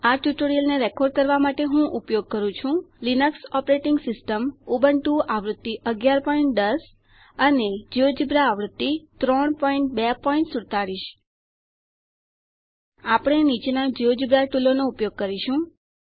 આ ટ્યુટોરીયલને રેકોર્ડ કરવા માટે હું ઉપયોગ કરું છું લિનક્સ ઓપરેટીંગ સિસ્ટમ ઉબુન્ટુ આવૃત્તિ 1110 જિયોજેબ્રા આવૃત્તિ 3247 આપણે નીચેના જિયોજેબ્રા ટુલોનો ઉપયોગ કરીશું